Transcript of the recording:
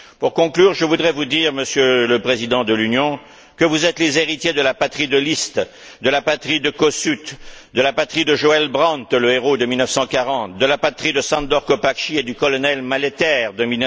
Pour conclure, je voudrais vous dire, Monsieur le Président de l'Union, que vous êtes les héritiers de la patrie de Liszt, de la patrie de Kossuth, de la patrie de Joël Brand, le héros de 1940, de la patrie de Sándor Kopácsi et du colonel Maléter de